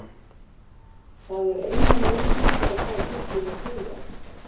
Það er eina leiðin til að fá þig til að þegja.